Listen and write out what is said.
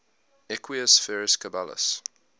equus ferus caballus